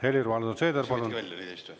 Helir-Valdor Seeder, palun!